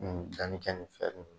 N danni kɛ nin fɛn min ye